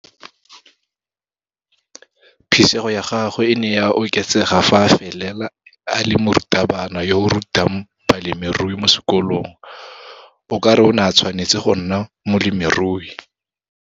Phisego ya gagwe e ne ya oketsega fa a felela a le morutabana yo a rutang bolemirui mo sekolong. O ka re o ne a tshwanetse go nna molemirui.